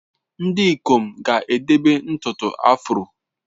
Ndị ikom ga-edebe ntutu afro.